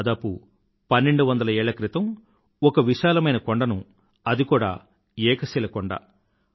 దాదాపు పన్నెండు వందల ఏళ్ల క్రితం ఒక విశాలమైన కొండను అది కూడా ఏక శిల కొండ